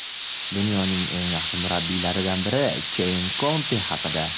Dunyoning eng yaxshi murabbiylaridan biri – Keyn Konte haqida.